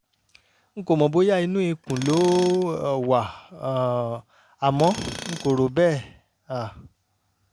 n kò mọ̀ bóyá inú ikùn ló um wà um àmọ́ n kò rò bẹ́ẹ̀ um